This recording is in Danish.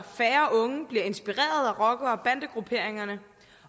færre unge bliver inspireret af rocker og bandegrupperingerne